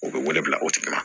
U bɛ wele bila o tigi ma